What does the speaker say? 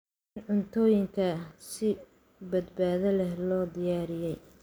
Cun cuntooyinka si badbaado leh loo diyaariyey.